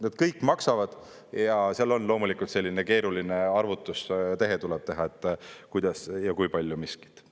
Need kõik maksavad ja seal on loomulikult selline keeruline arvutustehe vaja teha, kuidas ja kui palju miskit.